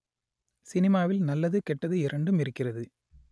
சினிமாவில் நல்லது கெட்டது இரண்டும் இருக்கிறது